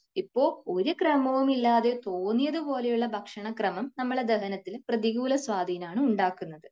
ഇപ്പോൾ ഒരു ക്രമവും ഇല്ലാതെ തോന്നിയത് പോലുള്ള ഭക്ഷണക്രമം നമ്മുടെ ദഹനത്തിന് പ്രതികൂല സ്വാധീനം ആണ് ഉണ്ടാക്കുന്നത്.